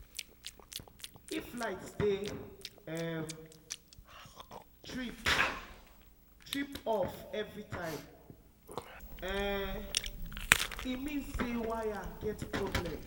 if light dey um trip trip off every time um e mean say wire get problem.